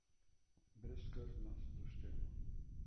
Brezskrbna, sproščena.